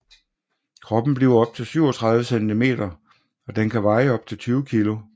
Kroppen bliver op til 37 cm og den kan veje op til 20 kg